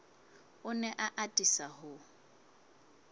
o ne a atisa ho